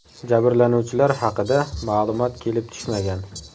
Jabrlanuvchilar haqida ma’lumot kelib tushmagan.